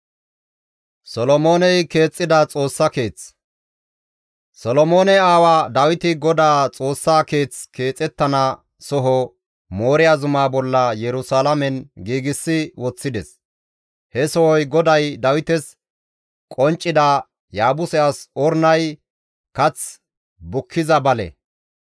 Solomoone aawa Dawiti GODAA Xoossa keeth keexettana soho Mooriya zumaa bolla Yerusalaamen giigsi woththides. He sohoy GODAY Dawites qonccida, Yaabuse as Ornay kath bukkiza bale.